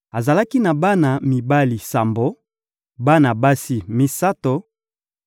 Azalaki na bana mibali sambo, bana basi misato;